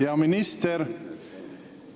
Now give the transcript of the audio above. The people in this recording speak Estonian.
Hea minister!